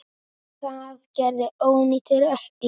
Það gerði ónýtur ökkli.